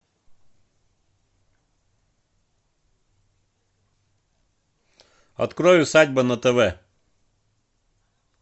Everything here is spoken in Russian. открой усадьба на тв